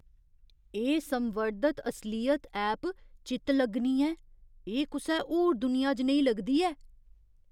एह् संवर्धत असलियत ऐप चित्त लग्गनी ऐ। एह् कुसै होर दुनिया जनेही लगदी ऐ।